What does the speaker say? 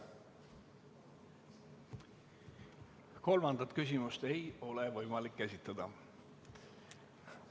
Kolmandat küsimust ei ole võimalik esitada.